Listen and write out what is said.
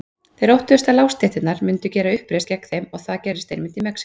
Þeir óttuðust að lágstéttirnar myndu gera uppreisn gegn þeim og það gerðist einmitt í Mexíkó.